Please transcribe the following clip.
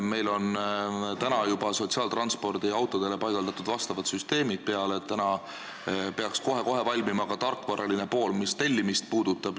Meil on juba sotsiaaltranspordi autodele paigaldatud vastavad süsteemid, kohe-kohe peaks valmima ka tarkvaraline pool, mis tellimist puudutab.